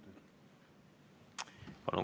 Palun!